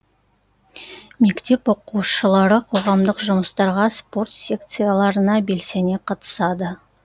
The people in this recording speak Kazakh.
мектеп оқушылары қоғамдық жұмыстарға спорт секцияларына белсене қатысады